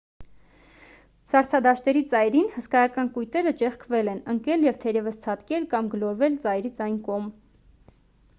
սառցադաշտերի ծայրին հսկայական կույտերը ճեղքվել են ընկել և թերևս ցատկել կամ գլորվել ծայրից այն կողմ